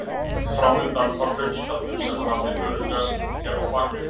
Framundan var hraunstallur sem hann hafði örugglega skýlt sér á bakvið.